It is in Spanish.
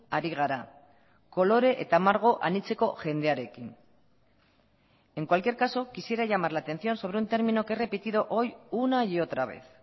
ari gara kolore eta margo anitzeko jendearekin en cualquier caso quisiera llamar la atención sobre un término que he repetido hoy una y otra vez